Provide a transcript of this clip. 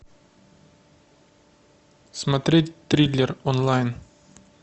смотреть триллер онлайн